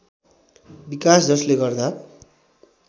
विकास जसले गर्दा